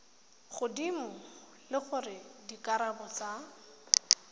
godimo le gore dikarabo tsa